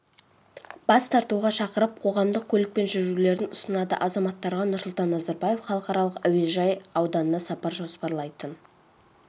бас тартуға шақырып қоғамдық көлікпен жүрулерін ұсынады азаматтарға нұрсұлтан назарбаев халықаралық әуежай ауданына сапар жоспарлайтын